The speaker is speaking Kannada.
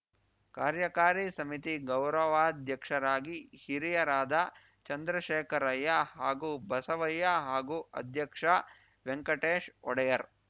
ಕಾರ್ಯಕಾರಿ ಸಮಿತಿ ಗೌರವಾಧ್ಯಕ್ಷರಾಗಿ ಹಿರಿಯರಾದ ಚಂದ್ರಶೇಖರಯ್ಯ ಹಾಗೂ ಬಸವಯ್ಯ ಹಾಗೂ ಅಧ್ಯಕ್ಷ ವೆಂಕಟೇಶ್‌ ಒಡೆಯರ್‌